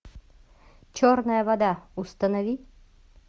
черная вода установи